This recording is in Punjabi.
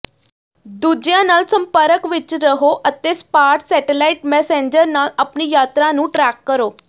ਦੂਜਿਆਂ ਨਾਲ ਸੰਪਰਕ ਵਿੱਚ ਰਹੋ ਅਤੇ ਸਪਾਟ ਸੈਟੇਲਾਈਟ ਮੈਸੇਂਜਰ ਨਾਲ ਆਪਣੀ ਯਾਤਰਾ ਨੂੰ ਟਰੈਕ ਕਰੋ